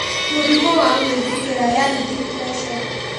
Mũrimũ wa gwĩthikĩra yaani depression